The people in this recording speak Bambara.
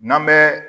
N'an bɛ